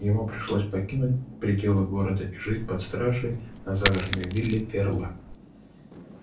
ему пришлось покинуть пределы города и жить под стражей на загородной вилле ферла